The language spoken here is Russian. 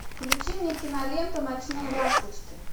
включи мне киноленту ночные ласточки